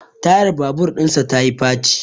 Tayar babur dinsa ta yi faci